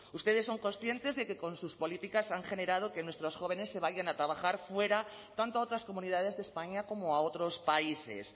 ustedes son conscientes de que con sus políticas han generado que nuestros jóvenes se vayan a trabajar fuera tanto a otras comunidades de españa como a otros países